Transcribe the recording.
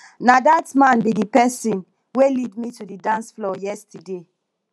na dat man be the person wey lead me to the dance floor yesterday